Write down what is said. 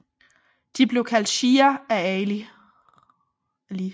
De blev kaldt shia af Ali